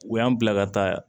U y'an bila ka taa